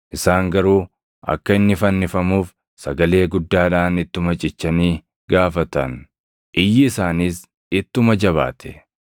Isaan garuu akka inni fannifamuuf sagalee guddaadhaan ittuma cichanii gaafatan; iyyi isaaniis ittuma jabaate.